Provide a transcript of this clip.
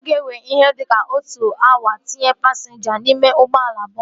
Ọ ga-ewe ihe dịka otu awa itinye pasinja n'ime ụgbọala bọọsu